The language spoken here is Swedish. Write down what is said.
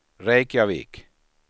Reykjavik